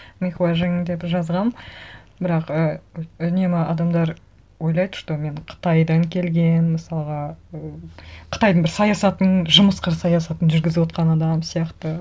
мейхуа жиң деп жазғанмын бірақ і үнемі адамдар ойлайды что мен қытайдан келген мысалға і қытайдың бір саясатын жымысқыр саясатын жүргізіп отырған адам сияқты